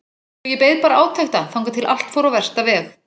Svo ég beið bara átekta þangað til allt fór á versta veg.